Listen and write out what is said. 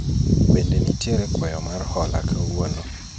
bende nitiere kwayo mar hola kawuono ?